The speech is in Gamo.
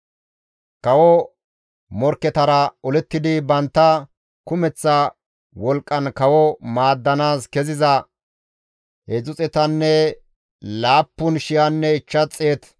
Kawo morkketara olettidi bantta kumeththa wolqqan kawo maaddanaas keziza 307,500 olanchchati istta kushen deettes.